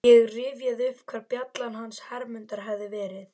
Ég rifjaði upp hvar bjallan hans Hermundar hafði verið.